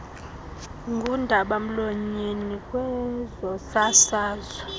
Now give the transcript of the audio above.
ngundaba mlonyeni kwezosasazo